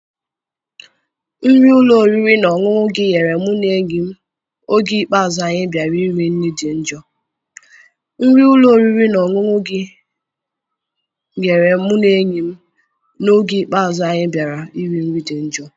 Nri ụlọ oriri na ọṅụṅụ gị nyere mụ na enyi m oge ikpeazụ anyị bịara iri nri dị njọ